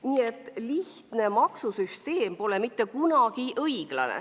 Nii et lihtne maksusüsteem pole mitte kunagi õiglane.